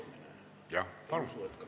Jah, palun!